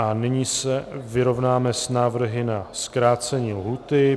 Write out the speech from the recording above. A nyní se vyrovnáme s návrhy na zkrácení lhůty.